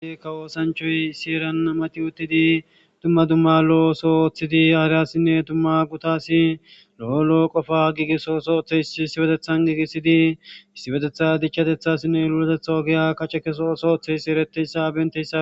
Ka woosanchoy sieran mati uttidi dumma dumma lo7osoo ooththidi aariyassinne tumma gutasi lo7olo7o qofa giigiso sootheys issibetethan giigisidi issibetetha dichchatethassinne luletetha ogeya kace keso soothe yssi ereteyssa bentessa.